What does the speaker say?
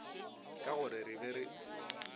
ka gore re be re